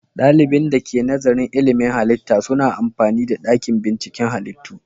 Dalibin da ke nazarin ilmin halitta suna amfani da dakin binciken halittu.